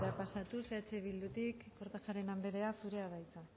pasatuz eh bildutik kortajarena andrea zurea da hitza